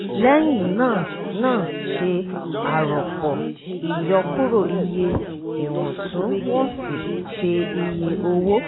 lẹ́yìn náà náà ṣe àrọ̀pọ̀ ìyọkúrọ̀ iye iwọntún-wọnsì ṣe iye owó